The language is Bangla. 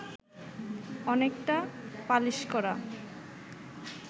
অনেকটা পালিশ করা